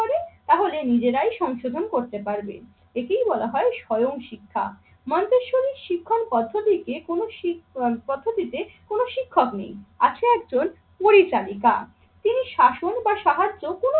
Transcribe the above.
করে তাহলে নিজেরাই সংশোধন করতে পারবে। একেই বলা হয় স্বয়ং শিক্ষা। মন্তেশ্বরী শিক্ষার পদ্ধতিতে কোন সি~ পদ্ধতিতে কোন শিক্ষক নেই, আছে একজন পরিচারিকা। তিনি শাসন বা সাহায্য কোন